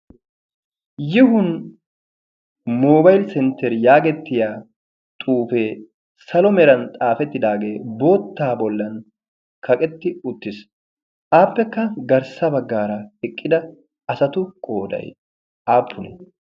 "yihun mobaili-sentter" yaagettiya xuufee salo meran xaafettidaagee boottaa bollan kaqetti uttiis. aappekka garssa baggaara eqqida asatu qoodai aappunii?